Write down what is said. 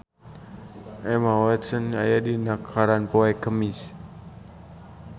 Emma Watson aya dina koran poe Kemis